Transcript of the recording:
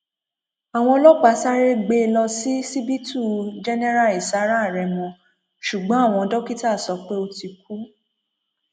àwọn ọlọpàá sáré gbé e lọ ṣíṣíbítù jẹnẹra ìsára remo ṣùgbọn àwọn dókítà sọ pé ó ti kú